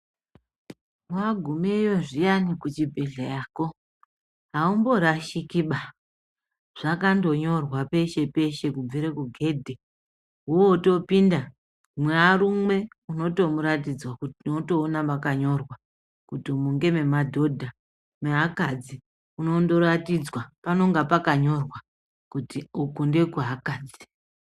Wagumeyo zviyani kuchibhedhleyako, haumborashikiba. Zvakandonyorwa peshe-peshe kubvire kugedhe, wotopinda mwearume unotomuratidzwa, unotoona mwakanyorwa kuti umu ngememadhodha. Meakadzi unondoratidzwa panonga pakanyorwa kuti uku ndekweakadzi.